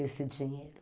esse dinheiro.